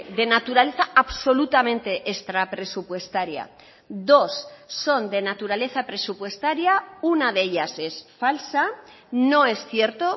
de naturaleza absolutamente extrapresupuestaria dos son de naturaleza presupuestaria una de ellas es falsa no es cierto